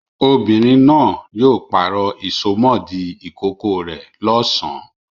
Obìnrin náà yóò pàrọ̀ ìsomọ́ọ̀dí ìkókó rẹ̀ lọ́sàn-án.